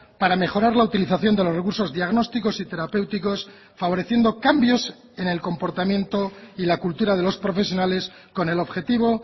para mejorar la utilización de los recursos diagnósticos y terapéuticos favoreciendo cambios en el comportamiento y la cultura de los profesionales con el objetivo